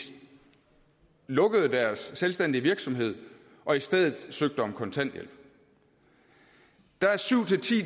lukkede deres selvstændige virksomhed og i stedet søgte om kontanthjælp der er syv